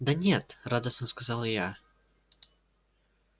да нет радостно сказала я